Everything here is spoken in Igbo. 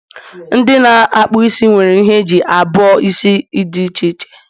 ndị na-akpụ isi nwere ihe eji abuo isi dị iche iche